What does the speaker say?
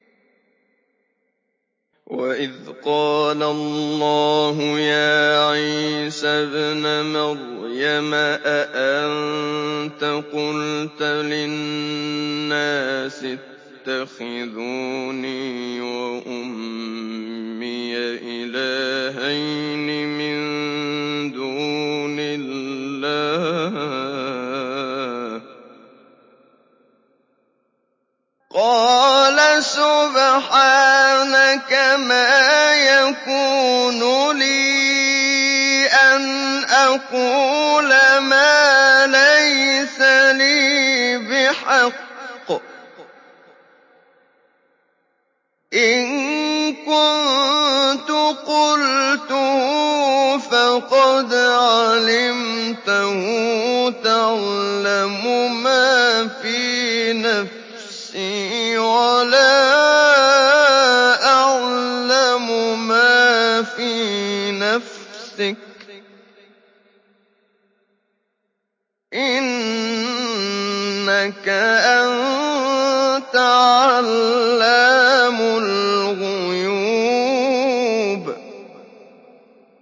وَإِذْ قَالَ اللَّهُ يَا عِيسَى ابْنَ مَرْيَمَ أَأَنتَ قُلْتَ لِلنَّاسِ اتَّخِذُونِي وَأُمِّيَ إِلَٰهَيْنِ مِن دُونِ اللَّهِ ۖ قَالَ سُبْحَانَكَ مَا يَكُونُ لِي أَنْ أَقُولَ مَا لَيْسَ لِي بِحَقٍّ ۚ إِن كُنتُ قُلْتُهُ فَقَدْ عَلِمْتَهُ ۚ تَعْلَمُ مَا فِي نَفْسِي وَلَا أَعْلَمُ مَا فِي نَفْسِكَ ۚ إِنَّكَ أَنتَ عَلَّامُ الْغُيُوبِ